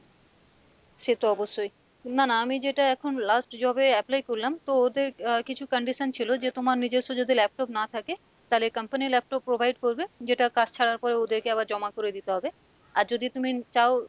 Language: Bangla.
সে তো অবশ্যই, না না আমি যেটা এখন last job এ apply করলাম তো ওদের আহ কিছু condition ছিলো যে তোমার নিজস্ব যদি laptop না থাকে তালে company laptop provide করবে যেটা কাজ ছাড়ার পর ওদেরকে আবার জমা করে দিতে হবে, আর যদি তুমি চাও,